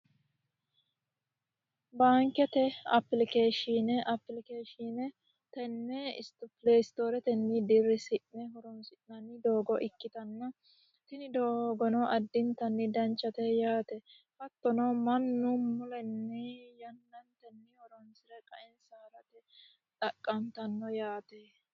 Baankete apilikeshine ,apilikeshine tene pristoreteni dirisine horonsi'nanni doogo ikkittanna tini doogono addittani danchate yaate hattono mannu mulenni yannantenni horonsire qaensa harate xaqattano yaate.